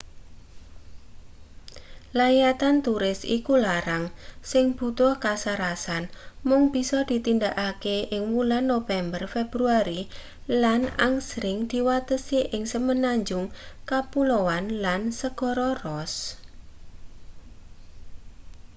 layatan turis iku larang sing butuh kasarasan mung bisa ditindakake ing wulan nopémber-februari lan angsring diwatesi ing semenanjung kapulaoan lan segara ross